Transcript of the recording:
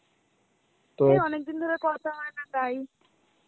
এই অনেকদিন ধরে কথা হয় না তাই.